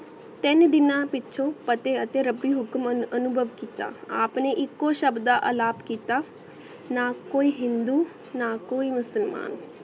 ਤੀਨ ਦਿਨਾ ਪੀਚੋ ਅਤੀ ਅਤੀ ਰੱਬੀ ਹੁਕਮਾਂ ਆਂ ਬਾਗ ਕੀਤਾ ਆਪ ਨੇ ਇਕੋ ਸ਼ਬ ਦਾ ਅਲਾਪ ਕੀਤਾ ਨਾ ਕੋਈ ਹਿੰਦੂ ਨਾ ਕੋਈ ਮੁਸਲਮਾਨ